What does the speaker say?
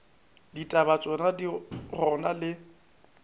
ditaba tšona di gona le